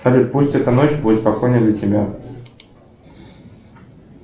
салют пусть эта ночь будет спокойной для тебя